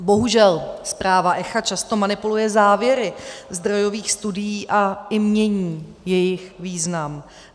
Bohužel zpráva ECHA často manipuluje závěry zdrojových studií a i mění jejich význam.